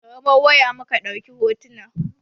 Da kamaran waya muka ɗauki hotunan.